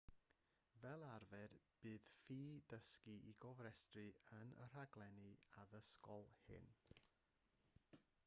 fel arfer bydd ffi dysgu i gofrestru yn y rhaglenni addysgol hyn